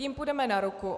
Jim půjdeme na ruku.